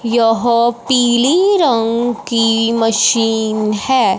यह पीली रंग की मशीन है।